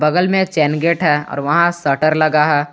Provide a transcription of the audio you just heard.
बगल में chain gate है और वहां शटर लगा है।